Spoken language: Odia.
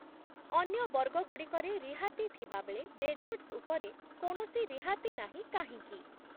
ଅନ୍ୟ ବର୍ଗଗୁଡ଼ିକରେ ରିହାତି ଥିବାବେଳେ ଡେଜର୍ଟ୍‌ସ୍ ଉପରେ କୌଣସି ରିହାତି ନାହିଁ କାହିଁକି?